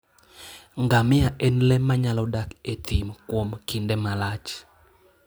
Ngamia en le manyalo dak e thim kuom kinde malach.